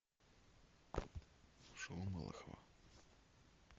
шоу малахова